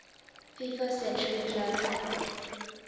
fifa century club